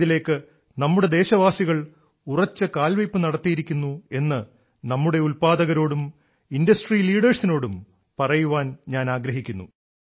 ആയതിലേക്ക് നമ്മുടെ ദേശവാസികൾ ഉറച്ച കാൽവെയ്പ്പ് നടത്തിയിരിക്കുന്നു എന്ന് നമ്മുടെ ഉല്പാദകരോടും ഇൻഡസ്ട്രി ലീഡേഴ്സിനോടും പറയാൻ ഞാൻ ആഗ്രഹിക്കുന്നു